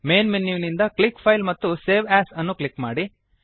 main ಮೆನುವಿನಿಂದ click file ಮತ್ತು save as ಅನ್ನು ಕ್ಲಿಕ್ ಮಾಡಿ